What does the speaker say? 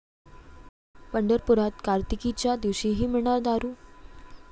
पंढरपुरात कार्तिकीच्या दिवशीही मिळणार दारू!